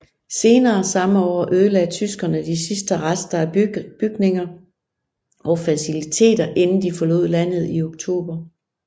Senere samme år ødelagde tyskerne de sidste rester af bygninger og faciliteter inden de forlod landet i oktober